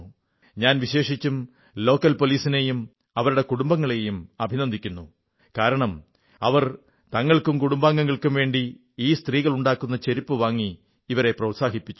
ഞാൻ വിശേഷിച്ചും ലോക്കൽ പോലീസിനെയും അവരുടെ കുടുംബങ്ങളെയും അഭിനന്ദിക്കുന്നു കാരണം അവർ തങ്ങൾക്കും കുടുംബാംഗങ്ങൾക്കും വേണ്ടി ഈ സ്ത്രീകൾ ഉണ്ടാക്കുന്ന ചെരുപ്പ് വാങ്ങി ഇവരെ പ്രോത്സാഹിപ്പിച്ചു